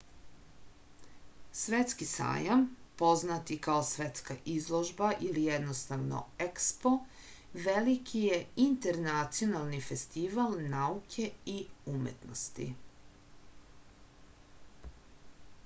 светски сајам познат и као светска изложба или једноставно експо велики је интернационални фестивал науке и уметности